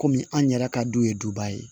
Kɔmi an yɛrɛ ka du ye duba ye